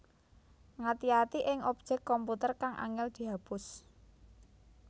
Ngati ati ing objèk komputer kang angèl dihapus